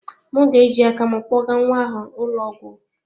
M ga-eji aka m kpogaa nwa ahụ ụlọ ọgwụ.